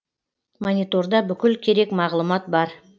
мониторда бүкіл керек мағлұмат бар